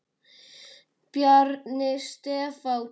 Bjarni Stefán.